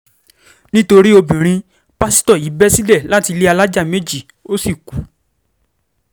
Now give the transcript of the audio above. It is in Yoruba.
nítorí obìnrin pásítọ̀ yìí bẹ́ sílẹ̀ láti ilé alájà méjì ó sì kú